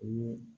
O